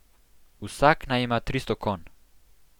Vsak naj ima tristo konj.